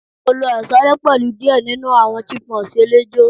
mo lo aṣalẹ pẹlu diẹ ninu awọn Chipmunks elejo